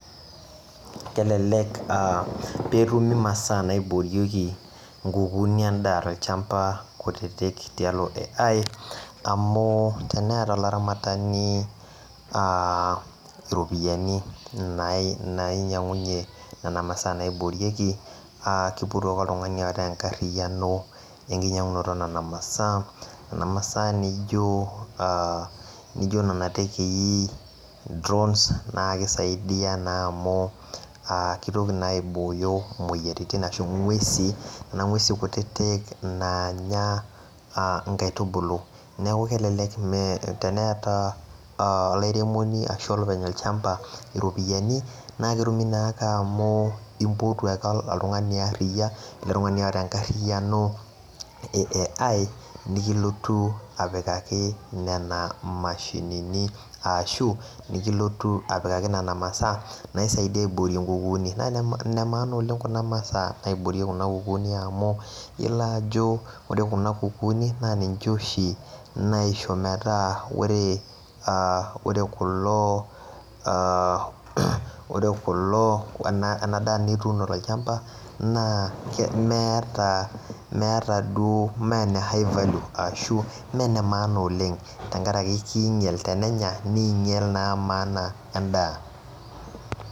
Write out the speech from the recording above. kelelek peetumi imasaa naibooyoki inkukuuni endaa tolchampa kutitik tialo AI amu teneata olaramatani iropiyiani nainyang'unyie nena masaa naiboorieki aa keipotuu ake oltung'ani oota enkariyiano eenkinyang'unoto oo nena masaa neijo nena tekei drones naa keisaidia naa amu keitoki naa aiboyoo imoyiaritin ashuu oo ng'wesi kuna ng'wesi kutitik naanya inkaitubulu neeku kelelek teneyata olairemoni ashuu olopeny olchampa iropiyiani naa ketumii naa ake amu impotu ake oltung'ani aariya ele tung'ani oota enkarriyiano ee AI nekilotu apikaki nena mashinini ashuu nikilotu apikaki nena masaa naisaidia aiboorie inkukuuni naa ine maana oleng' kuna masaa naiboorieki kuna kukuuni amu iyolo ajo ore kuna kukuuni naa ninche oshii naisho metaa ore kulo ore kulo ena daa nituuno tolchampa naa meeta meeta duo mee ene high value ashuu mee ene maana oleng' tenkaraki kiinyel tenenya niinyel naa maana endaa